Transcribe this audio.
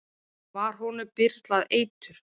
var honum byrlað eitur